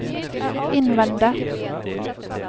innvende